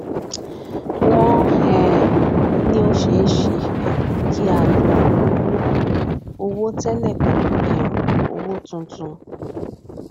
wọn um ní o se n se um ki a lọ owó owó tẹlẹ pelu um ọwọ tún tun